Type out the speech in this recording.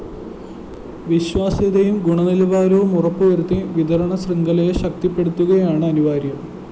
വിശ്വാസ്യതയും ഗുണനിലവാരവും ഉറപ്പുവരുത്തി വിതരണ ശൃംഖലയെ ശക്തിപ്പെടുത്തുകയെന്നതാണ് അനിവാര്യം